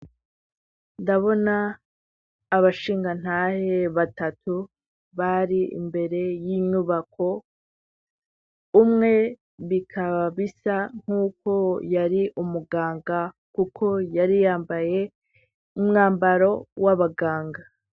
Ndabona abashingantahe batatu bari imbere y'inyubako, umwe bikaba bisa nk'uko yari umuganga kuko yari yambaye umwambaro w'abaganga.